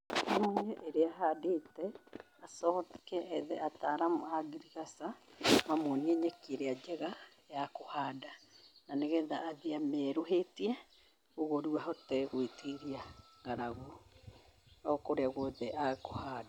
Mũrĩmi rĩrĩa ahandĩte acoke ethe ataramu a ngirigaca, mamuonie nyeki ĩrĩra njega ya kũhanda. Na nĩ getha athiĩ rĩu amĩeruhĩtie, ũguo rĩu ahote gwĩtiria ng'aragu okũrĩa guothe ekũhanda.